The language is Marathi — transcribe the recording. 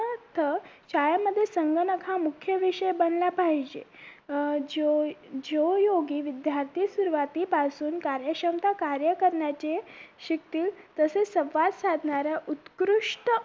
उदाहरणार्थ शाळांमध्ये संगणक हा मुख्य विषय बनला पाहिजे अं जो जो योगी विध्यार्थी सुरुवातीपासून कार्यक्षमता कार्य करण्याचे शिकतील तसेच संवाद साधणाऱ्या उत्कृष्ट